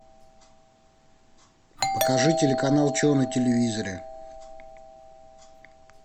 покажи телеканал че на телевизоре